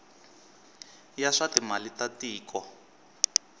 ya swa timali ta tiko